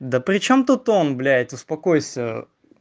да причём тут он блять успокойся